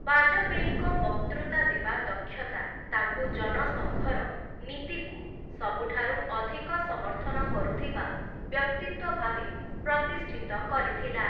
ବାଜପେୟୀଙ୍କ ବକ୍ତୃତା ଦେବା ଦକ୍ଷତା ତାଙ୍କୁ ଜନ ସଙ୍ଘର ନୀତିକୁ ସବୁଠାରୁ ଅଧିକ ସମର୍ଥନ କରୁଥିବା ବ୍ୟକ୍ତିତ୍ୱ ଭାବେ ପ୍ରତିଷ୍ଠିତ କରିଥିଲା ।